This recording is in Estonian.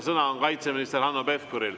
Sõna on kaitseminister Hanno Pevkuril.